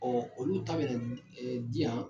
olu ta bɛna di yan